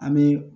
An bɛ